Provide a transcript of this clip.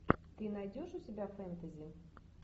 ты найдешь у себя фэнтези